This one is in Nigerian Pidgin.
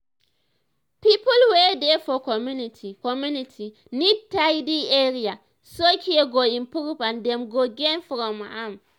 people wey dey for community community need tidy area so care go improve and dem go gain from am.